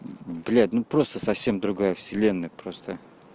блять ну просто совсем другая вселенная просто